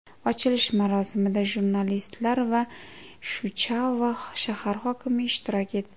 Ochilish marosimida jurnalistlar va Suchava shahar hokimi ishtirok etdi.